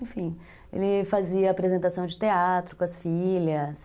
Enfim, ele fazia apresentação de teatro com as filhas.